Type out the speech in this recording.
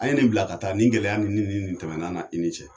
A ye nin bila ka taa, nin gɛlɛya ni ni nin tɛmɛnɛna' ni ne cɛ.